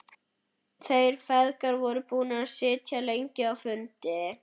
Þeir feðgar voru búnir að sitja lengi á fundi.